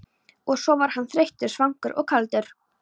Og svo var hann þreyttur, svangur og kaldur.